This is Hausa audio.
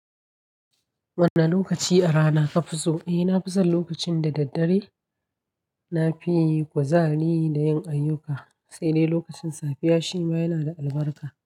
Wane lokaci a rana kafi so? Eh nafi son lokacin da daddare, nafi kuzari da yin ayyuka, sai dai lokacin safiya shima yana da albarka.